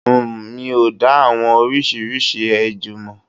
Uhm. Mi ò dá àwọn oríṣiríṣi ejò mọ̀.